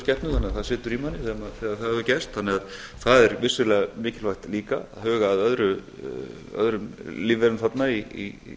skepnu þannig að það situr í manni þegar það hefur gerst þannig að það er vissulega mikilvægt líka að huga að öðrum lífverum þarna í